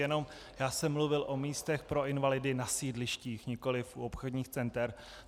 Jenom já jsem mluvil o místech pro invalidy na sídlištích, nikoliv u obchodních center.